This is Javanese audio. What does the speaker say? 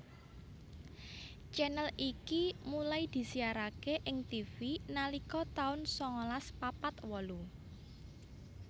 channel iki mulai disiaraké ing Tivi nalika tahun sangalas papat wolu